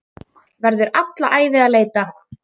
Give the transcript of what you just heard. Verður alla ævi að leita.